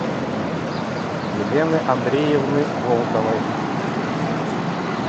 елены андреевны волковой